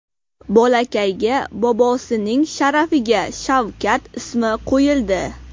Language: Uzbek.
Bolakayga bobosining sharafiga Shavkat ismi qo‘yildi .